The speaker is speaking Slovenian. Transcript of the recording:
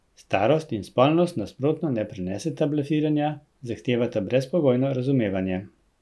Starost in spolnost nasprotno ne preneseta blefiranja, zahtevata brezpogojno razumevanje.